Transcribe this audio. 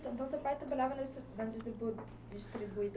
O seu pai trabalhava na na distribuidora?